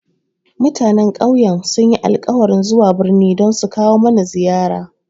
Mutanen ƙauyen sun yi alkawarin zuwa birni don sukawo mana ziyara